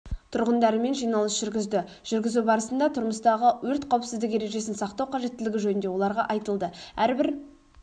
тұрғындарымен жиналыс жүргізді жүргізу барысында тұрмыстағы өрт қауіпсіздік ережесін сақтау қажеттілігі жөнінде оларға айтылды әрбір